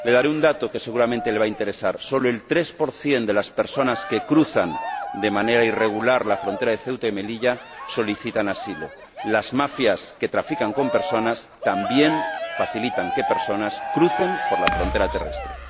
Le daré un dato que seguramente le va a interesar solo el 3 de las personas que cruza de manera irregular la frontera de Ceuta y Melilla solicita asilo. Las mafias que trafican con personas también facilitan que estas crucen por la frontera terrestre.